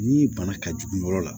Ni bana ka jugu yɔrɔ la